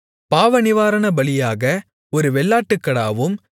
பாவநிவாரணபலியாக ஒரு வெள்ளாட்டுக்கடாவும்